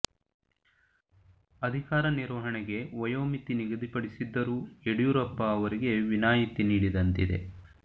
ಅಧಿಕಾರ ನಿರ್ವಹಣೆಗೆ ವಯೋಮಿತಿ ನಿಗದಿಪಡಿಸಿದ್ದರೂ ಯಡಿಯೂರಪ್ಪ ಅವರಿಗೆ ವಿನಾಯಿತಿ ನೀಡಿದಂತಿದೆ